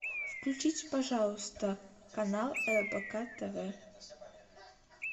включите пожалуйста канал рбк тв